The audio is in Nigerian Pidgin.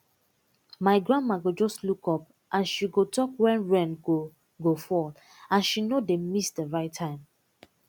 my grandma go just look up and she go talk when rain go go fall and she no dey miss the right time